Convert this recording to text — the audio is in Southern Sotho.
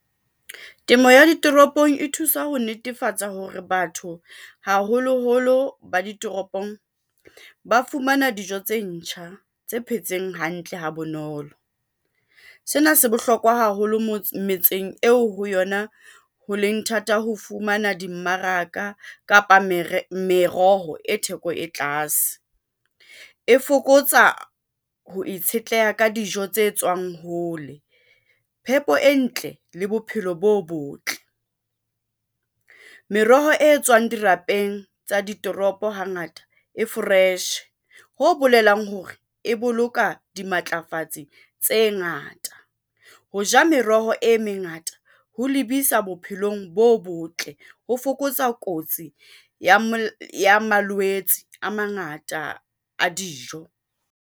Temo ya ditoropong e thusa ho netefatsa hore batho haholoholo ba ditoropong, ba fumana dijo tse ntjha tse phetseng hantle ha bonolo. Sena se bohlokwa haholo metseng eo ho yona ho leng thata ho fumana dimmaraka, kapa meroho e theko e tlase e fokotsa ho itshetleha ka dijo tse tswang hole, phepo e ntle le bophelo bo botle. Meroho e tswang dirapeng tsa ditoropo hangata e fresh-e, ho bolelang hore e boloka dimatlafatsi tse ngata. Ho ja meroho e mengata ho lebisa bophelong bo botle ho fokotsa kotsi ya malwetse a mangata a dijo.